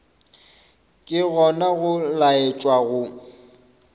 ke gona go laetša go